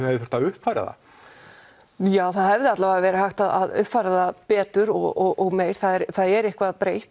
hefði mátt uppfæra það já það hefði allavega verið hægt að uppfæra það betur og meir það er eitthvað breytt